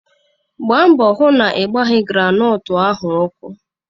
Gbaa mbọ hụ na ị gbaghi granọọtu ahụ ọkụ!